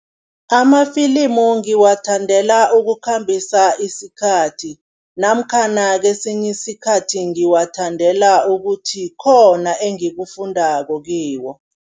Amafilimu ngiwathandela ukukhambisa isikhathi namkhana kesinye isikhathi ngiwathandela ukuthi khona engikufundako kiwo.